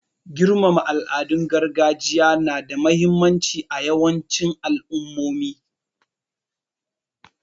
Girmama al'adun gargajiya na da muhimmanci a yawancin al'ummomi.